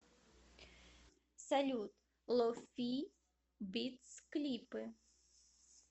салют ло фи битс клипы